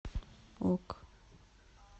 ок